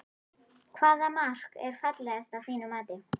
Hvaða mark er fallegast að þínu mati?